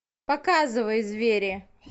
показывай звери